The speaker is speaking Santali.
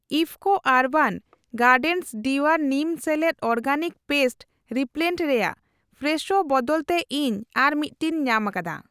IFFCO Urban Gardens Dear Neem ᱥᱮᱞᱮᱫ ᱚᱨᱜᱮᱱᱤᱠ ᱯᱮᱥᱴ ᱨᱤᱯᱤᱞᱮᱱᱴ ᱨᱮᱭᱟᱜ ᱯᱷᱨᱮᱥᱷᱳ ᱵᱚᱫᱚᱞ ᱛᱮ ᱤᱧ ᱟᱨ ᱢᱤᱴᱴᱮᱱᱤᱧ ᱧᱟᱢᱟᱠᱟᱫᱟ ᱾